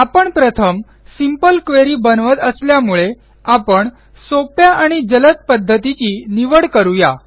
आपण प्रथम simple query बनवत असल्यामुळे आपण सोप्या आणि जलद पध्दतीची निवड करू या